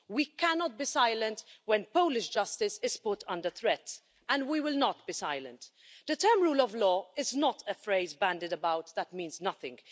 We cannot be silent when Polish justice is put under threat, and we will not be silent. The term rule of law' is not a phrase bandied about that means nothing.